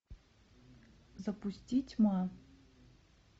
запусти тьма